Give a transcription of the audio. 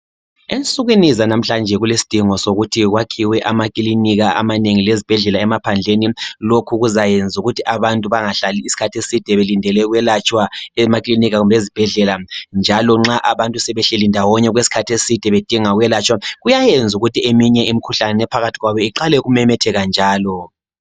Ensukwini zanamhlanje kulesidingo sokuthi kwakhiwe ama klinika amanengi lezibhedlela emaphandleni , lokhu kuyayenza ukuthi abantu bangahlali isikhathi eside belindele ukwelatshwa emaklinika kumbe ezibhedlela njalo nxa abantu sebehleli ndawonye okwesikhathi eside bedinga ukwelatshwa kuyayenza ukuthi eminye imkhuhlane ephakathi kwabo iqale ukumemetheka njalo